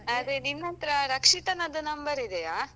ಅದೇ ನಿನ್ನತ್ರ ರಕ್ಷಿತನದ್ದು number ಇದೆಯಾ?